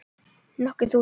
Nokkur þúsund?